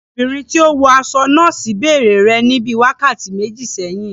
Ọmọbìnrin tí ó wọ aṣọ nọ́ọ́sì bèrè rẹ ní bíi wákàtí méjì sẹ́yìn.